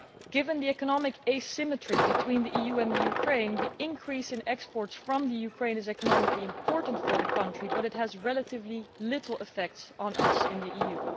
Given the economic asymmetry between the EU and Ukraine, the increase in exports from Ukraine is economically important for the country but it has relatively little effect on us in the EU.